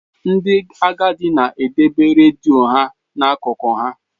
Ndị agadi na-edebe redio ha n'akụkụ ha.